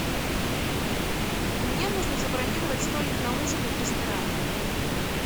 мне нужно забронировать столик на ужин в ресторане